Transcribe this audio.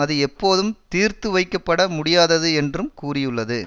அது எப்போதும் தீர்த்து வைக்கப்பட முடியாதது என்றும் கூறியுள்ளது